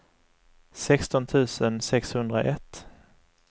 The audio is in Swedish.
sexton tusen sexhundraett